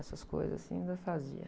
Essas coisas assim, eu ainda fazia.